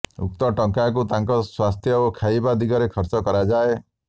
ଉକ୍ତ ଟଙ୍କାକୁ ତାଙ୍କ ସ୍ୱାସ୍ଥ୍ୟ ଓ ଖାଇବା ଦିଗରେ ଖର୍ଚ୍ଚ କରାଯାଏ